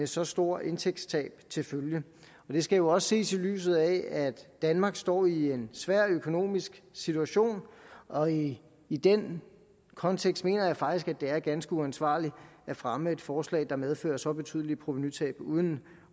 så store indtægtstab til følge det skal jo også ses i lyset af at danmark står i en svær økonomisk situation og i i den kontekst mener jeg faktisk at det er ganske uansvarligt at fremme et forslag der medfører så betydelige provenutab uden